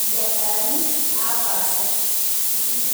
ibiasharani, napaasha. Pitum.